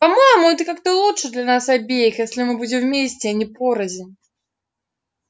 по-моему это как-то лучше для нас обеих если мы будем вместе а не порознь